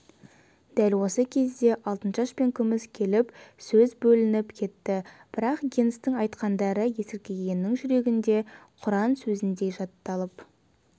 дәл осы кезде алтыншаш пен күміс келіп сөз бөлініп кетті бірақ генстің айтқандары есіркегеннің жүрегінде құран сөзіндей жатталып